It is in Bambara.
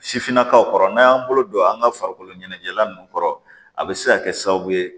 Sifinnakaw kɔrɔ n'an y'an bolo don an ga farikolo ɲɛnajɛla nunnu kɔrɔ a bɛ se ka kɛ sababu ye